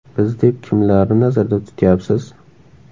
Biz deb kimlarni nazarda tutyapsiz?